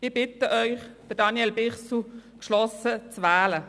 Ich bitte Sie, Daniel Bichsel geschlossen zu wählen.